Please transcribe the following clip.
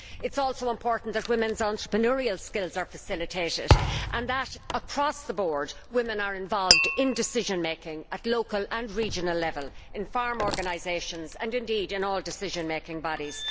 It is also important for women's entrepreneurial skills to be facilitated and, across the board, for women to be involved in decision making at local and regional level, in farm organisations and, indeed, in all decision making bodies.